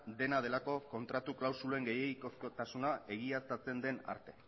dena delako kontratu klausulen gehiegikotasuna egiaztatzen den arte